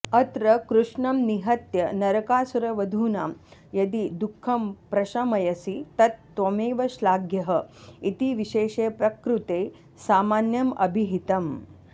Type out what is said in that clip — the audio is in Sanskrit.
अत्र कृष्णं निहत्य नरकासुरवधूनां यदि दुःखं प्रशमयसि तत् त्वमेव श्लाघ्यः इति विशेषे प्रकृते सामान्यमभिहितम्